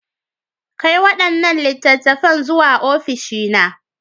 Kai waɗannan littattafan zuwa ofishi na.